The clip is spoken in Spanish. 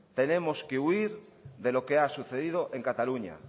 tenemos que huir de lo que ha sucedido en cataluña